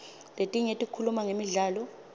letinye tikhuluma ngemidlalo